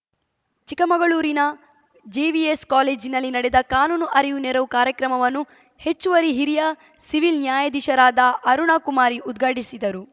ಚಿಕ್ಕಮಗಳೂರಿನ ಜೆವಿಎಸ್‌ ಕಾಲೇಜಿನಲ್ಲಿ ನಡೆದ ಕಾನೂನು ಅರಿವುನೆರವು ಕಾರ್ಯಕ್ರಮವನ್ನು ಹೆಚ್ಚುವರಿ ಹಿರಿಯ ಸಿವಿಲ್‌ ನ್ಯಾಯಾಧೀಶರಾದ ಅರುಣ ಕುಮಾರಿ ಉದ್ಘಾಟಿಸಿದರು